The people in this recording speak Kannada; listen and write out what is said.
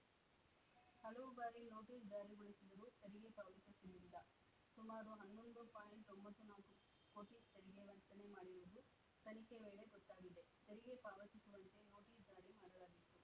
ಹಲವು ಬಾರಿ ನೊಟೀಸ್‌ ಜಾರಿಗೊಳಿಸಿದರೂ ತೆರಿಗೆ ಪಾವತಿಸಲಿಲ್ಲ ಸುಮಾರು ಹನ್ನೊಂದು ಪಾಯಿಂಟ್ ಒಂಬತ್ತು ನಾಲ್ಕು ಕೋಟಿ ತೆರಿಗೆ ವಂಚನೆ ಮಾಡಿರುವುದು ತನಿಖೆ ವೇಳೆ ಗೊತ್ತಾಗಿದೆ ತೆರಿಗೆ ಪಾವತಿಸುವಂತೆ ನೋಟಿಸ್‌ ಜಾರಿ ಮಾಡಲಾಗಿತ್ತು